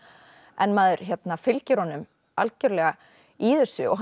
en maður fylgir honum algjörlega í þessu og